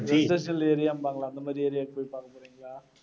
industrial area ம்பாங்களே, அந்த மாதிரி area க்கு போய் பார்க்க போறீங்களா?